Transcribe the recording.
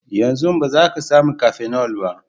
Yanzu ba za ka sami cafenol ba.